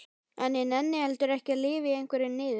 En ég nenni heldur ekki að lifa í einhverri niður